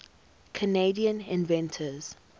canadian inventors